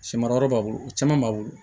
Sɛmara yɔrɔ b'a bolo o caman b'a bolo